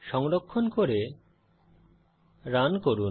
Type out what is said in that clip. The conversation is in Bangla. সংরক্ষণ করে রান করুন